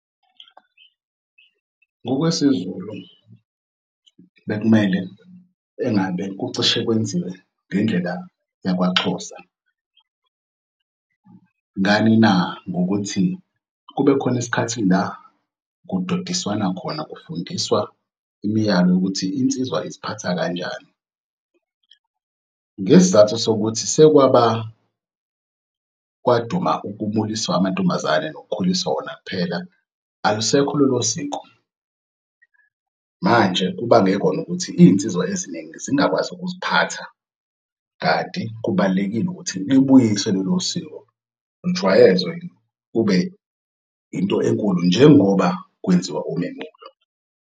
NgokwesiZulu bekumele engabe kucishe kwenziwe ngendlela yakwa Xhosa ngani na ngokuthi kube khona isikhathi la kudodiswana khona kufundiswa imiyalo yokuthi insizwa iziphatha kanjani. Ngesizathu sokuthi kwaduma ukukhuliswa kwamantombazane nokukhuliswa wona kuphela alusekho lolo siko. Manje kubange kona nokuthi iy'nsizwa eziningi zingakwazi ukuziphatha kanti kubalulekile ukuthi libuyiswe lolo siko ijwayezwe kube into enkulu njengoba kwenziwa umemulo.